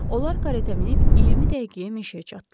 Onlar karetə minib 20 dəqiqəyə meşəyə çatdılar.